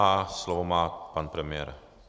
A slovo má pan premiér.